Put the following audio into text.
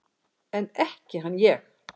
En ekki hann ég!